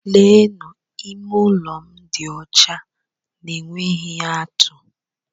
Leenụ! Ime ụlọ m dị ọcha na-enweghị atú!